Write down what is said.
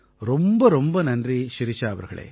ரொம்ப ரொம்ப நன்றி ஷிரிஷா அவர்களே